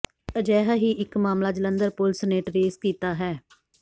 ਅਜਿਹਾ ਹੀ ਇੱਕ ਮਾਮਲਾ ਜਲੰਧਰ ਪੁਲਿਸ ਨੇ ਟਰੇਸ ਕੀਤਾ ਹੈ